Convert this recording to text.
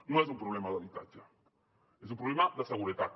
no és un problema d’habitatge és un problema de seguretat